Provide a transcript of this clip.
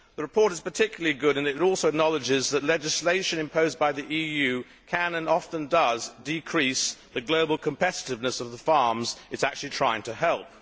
The report is particularly good in that it also acknowledges that legislation imposed by the EU can and often does decrease the global competitiveness of the farms it is actually trying to help.